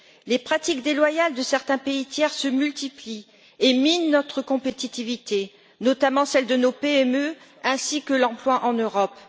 Les pratiques déloyales de certains pays tiers se multiplient et minent notre compétitivité, notamment celle de nos PME, ainsi que l'emploi en Europe.